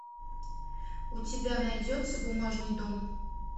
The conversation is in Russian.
у тебя найдется бумажный дом